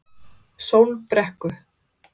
Sólbrekku